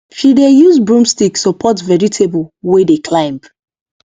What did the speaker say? she dey use broom stick support vegetable wey dey climb